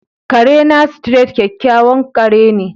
Kare na, Street, kyakkyawan ƙare ne.